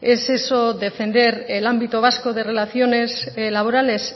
es eso defender el ámbito vasco de relaciones laborales